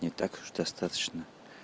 не так уж достаточно